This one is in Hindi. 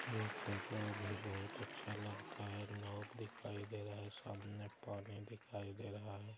ये जगह भी बहुत अच्छा लगता है। नाव दिखाई दे रहा है सामने पानी दिखाई दे रहा है।